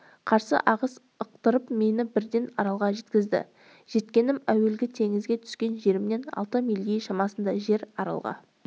қарсы ағыс ықтырып мені бірден аралға жеткізді жеткенім әуелгі теңізге түскен жерімнен алты миль шамасындай жер аралға